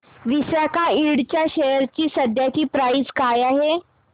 Visaka Ind च्या share ची सध्याची प्राइस काय आहे